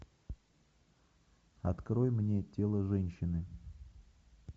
открой мне тело женщины